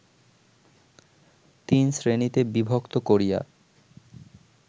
তিনশ্রেণীতে বিভক্ত করিয়া